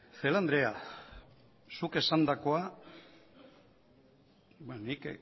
celaá andrea zuk esandakoa nik